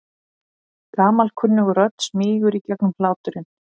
Gamalkunnug rödd smýgur í gegnum hláturinn.